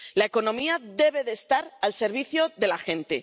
La economía debe de estar al servicio de la gente.